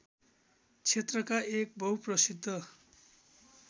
क्षेत्रका एक बहुप्रसिद्ध